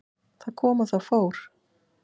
Það kom og það fór.